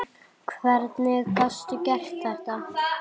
Hvernig gastu gert þetta?